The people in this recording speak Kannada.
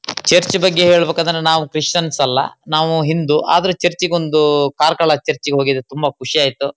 ಚರ್ಚ್ ಬಗ್ಗೆ ಹೇಳಬೇಕದ್ರೆ ನಾವು ಕ್ರಿಶ್ಚಿಯನ್ಸ್ ಅಲ್ಲಾ ನಾವು ಹಿಂದೂ ಆದ್ರೆ ಚರ್ಚ್ಗೊಂದು ಕಾರ್ಕಳ ಚರ್ಚ್ಗೆ ಹೋಗಿದ್ದೆ ತುಂಬಾ ಖುಷಿ ಆಯಿತು.